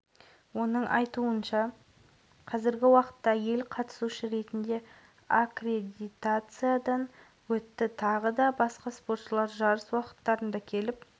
универсиада қатысушы жоғарғы оқу орындарының саны рекордтық көрсеткішке жетт бұл туралы халықаралық студенттер спорты федерациясының президенті олег матыцин мәлімдеді деп хабарлады